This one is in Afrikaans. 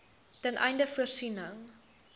ten einde voorsiening